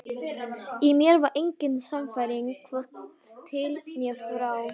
Í mér var engin sannfæring, hvorki til né frá.